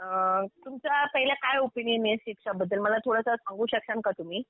अ तुमचं पहिलं काय ओपिनियन आहे शिक्षा बद्दल? मला थोडंसं सांगू शकाल का तुम्ही?